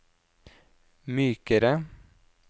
mykere